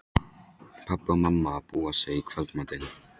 Pabbi og mamma að búa sig í kvöldmatinn.